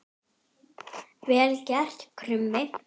Vel gert, Krummi!